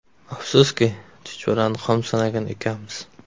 Afsuski, ‘chuchvarani xom sanagan ekanmiz’.